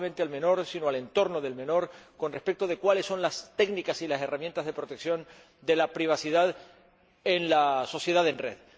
No solamente al menor, sino al entorno del menor con respecto a cuáles son las técnicas y las herramientas de protección de la privacidad en la sociedad en red.